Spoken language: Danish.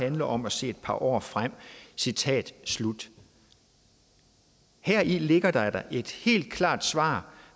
handler om at se et par år frem citat slut heri ligger der da et helt klart svar